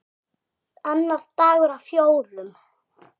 Annar dagur af fjórum.